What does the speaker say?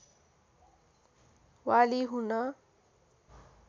वाली हुन